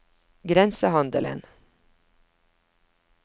grensehandelen